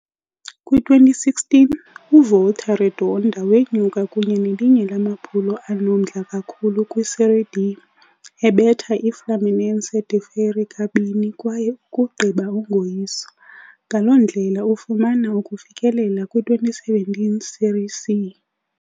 Kwi-2016, uVolta Redonda wenyuka kunye nelinye lamaphulo anomdla kakhulu kwi-Série D, ebetha i-Fluminense de Feira kabini kwaye ukugqiba ungoyiswa, ngaloo ndlela ufumana ukufikelela kwi-2017 Série C.